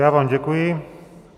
Já vám děkuji.